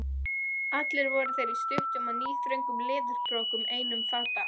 Allir voru þeir í stuttum og níðþröngum leðurbrókum einum fata.